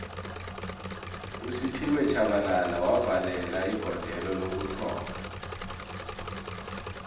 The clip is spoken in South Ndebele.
usphiwe shabalala wavalelo igodelo lokuthoma